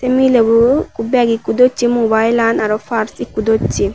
milebo ikko bag ikko dossey mubailan aro pars ikko dossey.